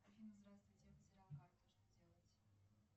афина здравствуйте я потеряла карту что делать